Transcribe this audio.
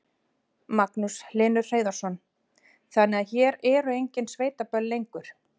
Magnús Hlynur Hreiðarsson: Þannig að hér eru engin sveitaböll lengur?